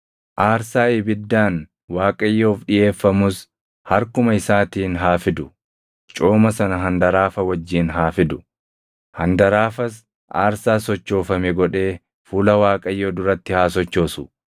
Aarsaa ibiddaan Waaqayyoof dhiʼeeffamus harkuma isaatiin haa fidu; cooma sana handaraafa wajjin haa fidu; handaraafas aarsaa sochoofame godhee fuula Waaqayyoo duratti haa sochoosu.